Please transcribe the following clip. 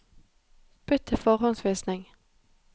Bytt til forhåndsvisning